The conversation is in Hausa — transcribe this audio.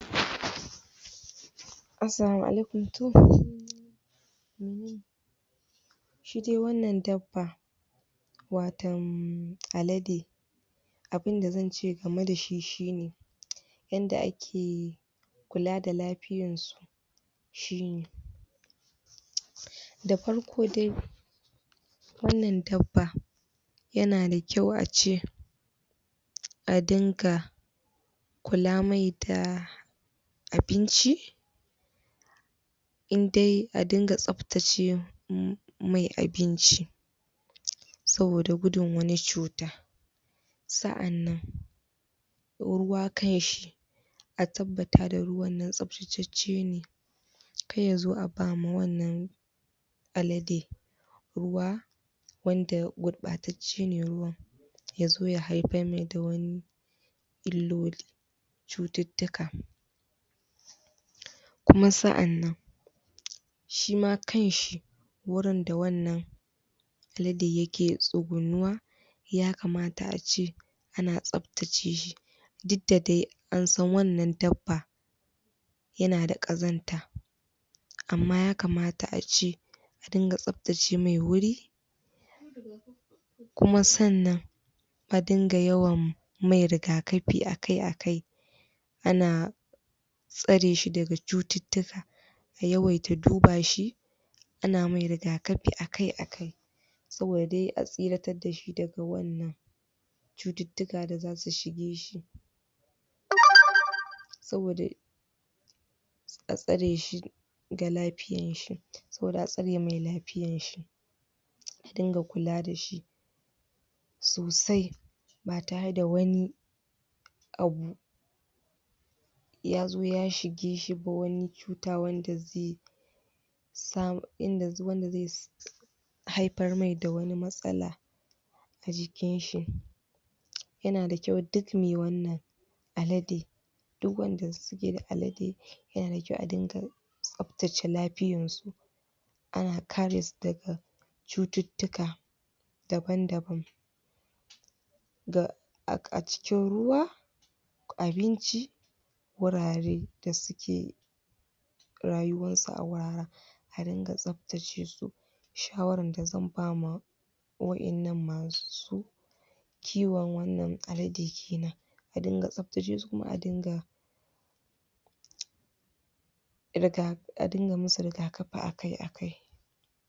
assalamu alaikum, toh shi dai wannan dab ba wa alade abun da zance game da shi shi ne yanda a ke kula da la fiyan su shi ne da far ko dai wannan dabba yana da kyau ace a dinga kula mai da abinci in dai a dinga tsabtace wurin mai abinci saboda gudun wani cuta sa'anan ruwa kan shi a tabbata da ruwan na tsab tacecce ne kar ya zo a bama wannan alade ruwa wanda gurɓatac ce ne ruwan yazo ya haifar mai da wani lilloli cututtuka kuma sa'anan shims kan shi wurin da wannan alade yake tsugunuwa ya kamata a ce ana tsab tace shi duk da dai an san wannan dab yana da ƙazanta amma ya kamata ace su dinga tsab tace mai wuri kuma sunnan a dinga yawam mai riga kafi akai akai ana tsare shi daga cututtuka a yawaita duba shi ana mai riga kafi akai akai saboda dai a tsiratar da shi daga wannan cututtuka da zasu shige shi? saboda a tsare shi da lafiyan shi saboda atsare mai la fiyan shi a dinga kula dashi sosai ba tare da wani abu ya zo ya shi ge shi ko wani cuta wanda zai samu inda inda wanda zai haifar mai da wani matsala da ji kin shi yana da kyau duk me wannan alade duk wanda za zai ga alade yana da kyau a dinga tsabtace lafiyan su ana kare su daga cututtuka daban daban da a cikin ruwa abinci wurare da dai rayuwan sa a wahala a dinga tsabtace shawaran da zan bama waƴannan masu kiwon wannan alade kenan a diga tsabtace shi kuma adinga riga a dinga muau riga kafi akai akai